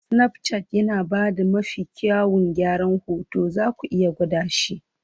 Snapchat yana ba da mafi kyawun gyaran hoto, zaku iya gwada shi.